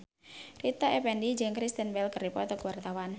Rita Effendy jeung Kristen Bell keur dipoto ku wartawan